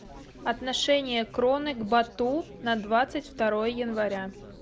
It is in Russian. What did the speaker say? отношение кроны к бату на двадцать второе января